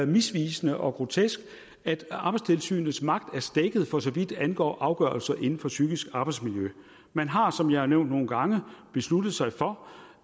misvisende og grotesk at arbejdstilsynets magt er stækket for så vidt angår afgørelser inden for psykisk arbejdsmiljø man har som jeg har nævnt nogle gange besluttet sig for